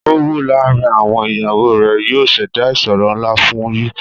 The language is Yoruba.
Owù laárìn àwọn iyàwọ rè yóò ṣèdá ìṣòrò nlá fún ù